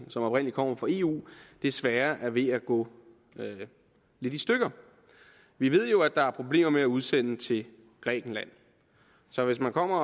som oprindelig kommer fra eu desværre er ved at gå lidt i stykker vi ved jo at der er problemer med at udsende til grækenland så hvis man kommer